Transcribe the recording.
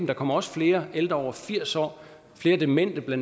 der kommer også flere ældre over firs år og flere demente bla